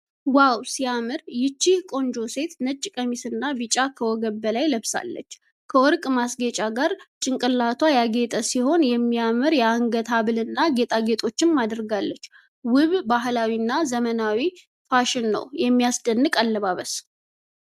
ዋው ሲያምር! ይህች ቆንጆ ሴት ነጭ ቀሚስና ቢጫ ከወገብ በላይ ለብሳለች። ከወርቅ ማስጌጫ ጋር ጭንቅላቷ ያጌጠ ሲሆን የሚያምር የአንገት ሐብልና ጌጣጌጦችንም አድርጋለች። ውብ፣ ባህላዊና ዘመናዊ ፋሽን ነው። የሚያስደንቅ አለባበስ!